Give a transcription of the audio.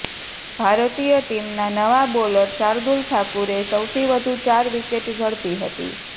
ભારતીય ટીમના નવા બોલર શાર્દુલ ઠાકુરે સૌથી વધુ ચાર વિકેટ ઝડપી હતી